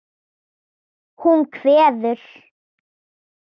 Hún kveður.